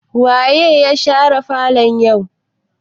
Waye share falon yau?